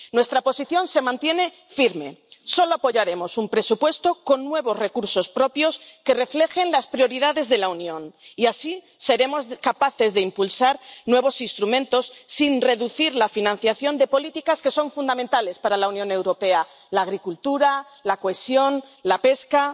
Nuestra posición se mantiene firme solo apoyaremos un presupuesto con nuevos recursos propios que reflejen las prioridades de la Unión y, así, seremos capaces de impulsar nuevos instrumentos, sin reducir la financiación de políticas que son fundamentales para la Unión Europea la agricultura, la cohesión, la pesca...